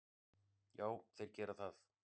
Já, þeir gera það.